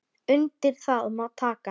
Undir það má taka.